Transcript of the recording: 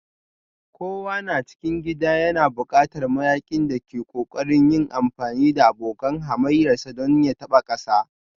Kokawa na cikin gida yana buƙatar mayaƙin da ke ƙoƙarin yin amfani da abokan hamayyarsa don ya taɓa ƙasa